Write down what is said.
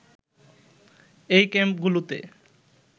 এই ক্যাম্পগুলোতে